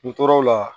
N tora o la